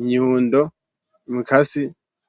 inyundo, umukasi.